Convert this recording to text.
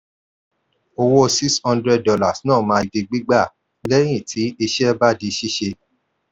owó six hundred dollars náà máa di gbígbà lẹ́yìn tí iṣẹ́ bá di ṣíṣe.